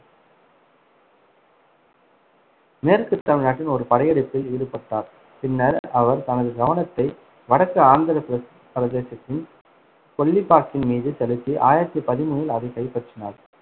மேற்குத் தமிழ்நாட்டின் ஒரு படையெடுப்பில் ஈடுபட்டார். பின்னர், அவர் தனது கவனத்தை வடக்கு ஆந்திரப் பிர~ பிரதேசத்தின் கொள்ளிப்பாக்கின் மீது செலுத்தி, ஆயிரத்தி பதிமூணில் அதை கைப்பற்றினார்.